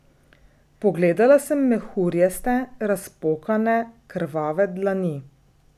Pogledala sem mehurjaste, razpokane, krvave dlani.